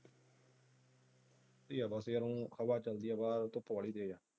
ਬੜੀਆਂ ਦਸ ਯਾਰ ਹੁਣ ਹਵਾ ਚਲ ਰਹੀ ਹ ਭਰ।